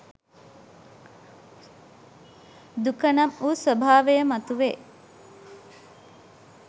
දුක නම්වු ස්වභාවය මතුවේ.